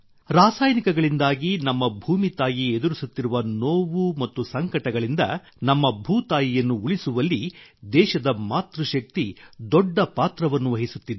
ರಾಸಾಯನಿಕಗಳಿಂದಾಗಿ ನಮ್ಮ ಭೂಮಿ ತಾಯಿ ಎದುರಿಸುತ್ತಿರುವ ನೋವು ಮತ್ತು ಸಂಕಟಗಳಿಂದ ನಮ್ಮ ಭೂ ತಾಯಿಯನ್ನು ಉಳಿಸುವಲ್ಲಿ ದೇಶದ ಮಾತೃಶಕ್ತಿ ದೊಡ್ಡ ಪಾತ್ರವನ್ನು ವಹಿಸುತ್ತಿದೆ